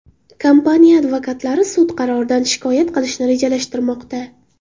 Kompaniya advokatlari sud qaroridan shikoyat qilishni rejalashtirmoqda.